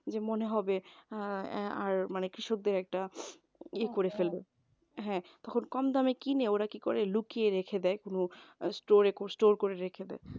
যে মনে হবে অ্যাঁ আর মানে কৃষকদের একটা এ করে ফেলবে হ্যাঁ খুব কম দামে কিনে ওরা কি করে লুকিয়ে রেখে দেয় কোন store store করে রেখে দেয়,